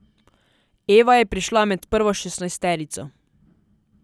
Eva je prišla med prvo šestnajsterico.